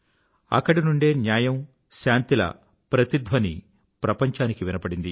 అక్కడి నుండే న్యాయం శాంతి ల ప్రతిధ్వని ప్రపంచానికి వినబడింది